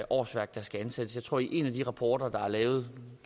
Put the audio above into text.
årsværk der skal ansættes jeg tror at i en af de rapporter der er lavet